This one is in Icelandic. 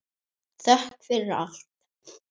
Þökk fyrir allt.